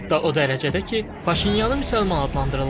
Hətta o dərəcədə ki, Paşinyanı müsəlman adlandırırlar.